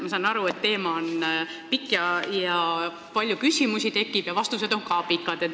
Ma saan aru, et teema on lai, tekib palju küsimusi ja vastused on pikad.